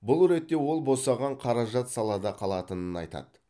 бұл ретте ол босаған қаражат салада қалатынын айтады